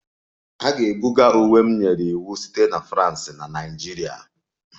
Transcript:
A ga-ebuga uwe m nyere iwu site na France na Nigeria